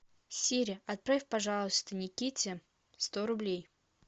сири отправь пожалуйста никите сто рублей